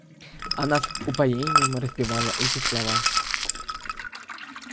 она с упоением распевала эти слова